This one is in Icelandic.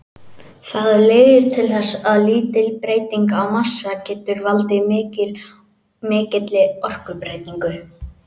Það leiðir til þess að lítil breyting á massa getur valdið mikilli orkubreytingu.